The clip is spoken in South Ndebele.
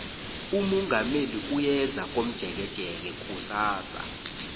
umongameli uyeza komjekejeke kusasa